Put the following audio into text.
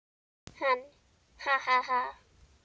Hann: Ha ha ha.